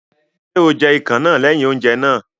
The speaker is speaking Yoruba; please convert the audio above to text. Ṣé o jẹ ikàn náà lẹ́yìn oúnjẹ náà?